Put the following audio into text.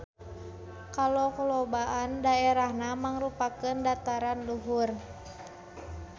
Kalolobaan daerahna mangrupakeun dataran luhur.